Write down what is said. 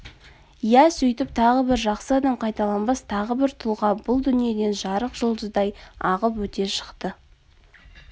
иә сөйтіп тағы бір жақсы адам қайталанбас тағы бір тұлға бұл дүниеден жарық жұлдыздай ағып өте шықты